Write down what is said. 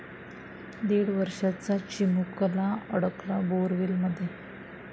दीड वर्षाचा चिमुलका अडकला बोअरवेलमध्ये